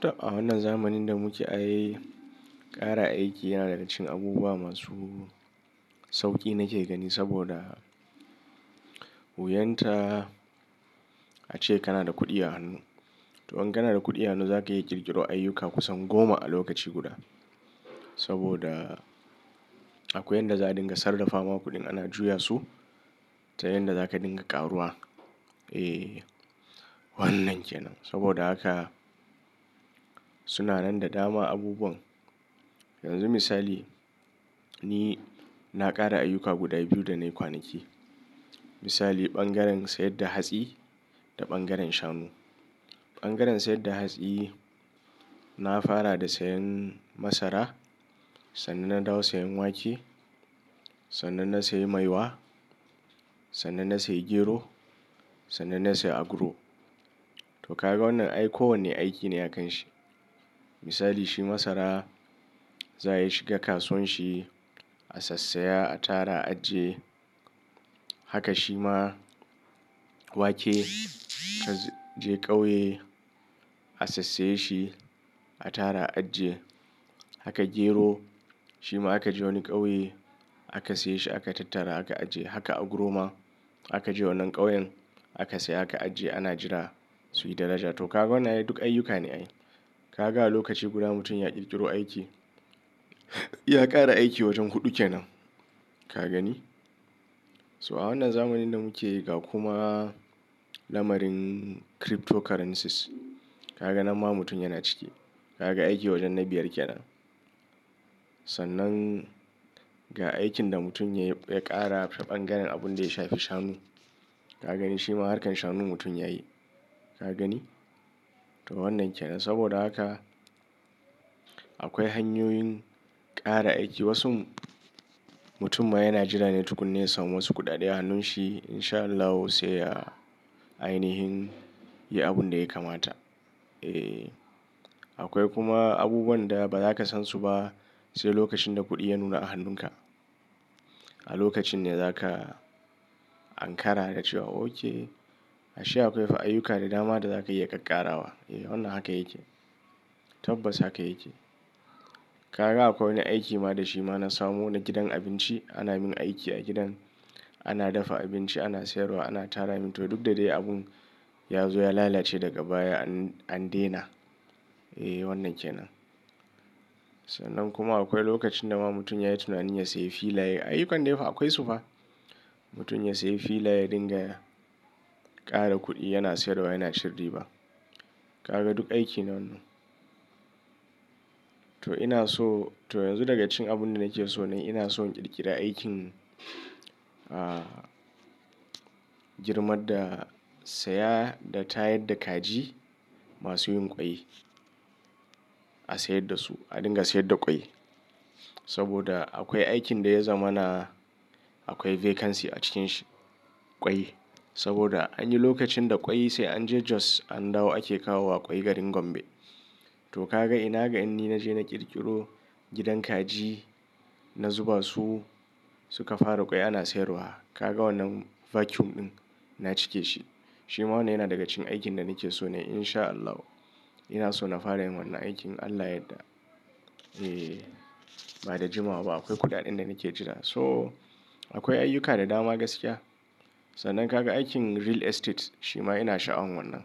To a wannan zamanin da muke ay, ƙara aiki yana da rashin abubuwa masu sauƙi nake gani. Saboda wuyar ta ace kana da kuɗi a hannu. To in kana da kuɗi a hannu, za ka iya ƙirƙiro ayyuka kusan goma a lokaci guda. Saboda akwai yanda za dinga sarrafa wa kuɗin ana juya su ta yanda za ka dinga ƙaruwa. Eh wannan kenan. Saboda haka suna nan da dama abubuwan. Yanzu misali ni na ƙara ayyuka guda biyu da na yi kwanaki. Misali ɓangaren sayar da hatsi da ɓangaren shanu. Ɓangaren sayar da hatsi na fara da sayan masara, sannan na dawo sayan wake, sannan na sayi maiwa, sannan na sayi gero, sannan na sayi aguro. To kaga wannan ai kowane aiki ne a kan shi. Misali shi masara za a yi shiga kasuwanshi, a sassaya, a tara, a ajiye. Haka shi ma wake ka je ƙauye, a sassaye shi, a tara, a ajiye. Haka gero shi ma aka je wani ƙauye aka saye shi aka tattara aka ajiye. Haka aguro ma aka je wannan ƙauyen aka saya aka ajiye ana jira su yi daraja. To kaga wannan duk ayyuka ne ayi. Kaga a lokaci guda mutum ya ƙirƙiro aiki, ya ƙara aiki wajan huɗu kenan ka gani? So a wannan zamanin da muke yi ga kuma lamarin cryptocurrencies kaga nan ma mutum yana ciki. Kaga aiki wajen na biyar kenan. Sannan ga aikin da mutum ya ƙara ta ɓangaren abin da ya shafi shanu. Ka gani shi ma harkar shanun mutum ya yi. Ka gani? To wannan kenan. Saboda haka akwai hanyoyin ƙara aiki. Wasu mutum ma yana jira ne tukuna ya samu wasu kuɗaɗe a hannun shi in sha Allah sai ya ainihin yi abun da ya kamata. Eh akwai kuma abubuwan da ba za ka san su ba sai lokacin da kuɗi ya nuna a hannun ka. A lokacin ne za ka Ankara da cewa okay a sha akwai fa ayyuka da dama da za ka iya ƙaƙkarawa. Eh wannan haka yake. Tabbas haka yake. Kaga akwai wani aiki ma da shi ma na samu na gidan abinci. Ana min aiki a gidan. Ana dafa abinci, ana sayarwa, ana tara. Min to duk da dai abun ya zo ya lalace daga baya an dena. Eh wannan kenan. Sannan kuma akwai lokacin da ma mutum ya yi tunanin ya sayi filaye. Ayi kande fa akwai su fa. Mutum ya sayi filaye dinga ƙara kuɗi yana sayarwa yana cin riba. Kaga duk aiki ne wannan. To ina so to yanzu daga cikin abun da nake so ne ina so in ƙirƙira aikin ah girma da saya da tayar da kaji masu yin ƙwai. A sayar da su a dinga sayar da ƙwai. Saboda akwai aikin da ya zama na akwai vacancy a cikin shi ƙwai. Saboda anyi lokacin da ƙwai sai an je Jos an dawo ake kawo wa ƙwai garin Gombe. To kaga ina ga in ni naje na ƙirƙiro gidan kaji. Na zuba su suka fara ƙwai ana sayarwa. Kaga wannan vacuum ɗin na cike shi. Shi ma wannan yana daga cikin aikin da nake so ne in sha Allahu. Ina so na fara yin wannan aikin Allah yadda. Eh ba da jimawa ba akwai kuɗaɗen da nake jira. So akwai ayyuka da dama gaskiya. Sannan kaga aikin real estate shi ma ina sha'awan wannan.